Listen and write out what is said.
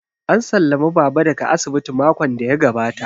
An sallami Baba daga asibiti makon da ya gabata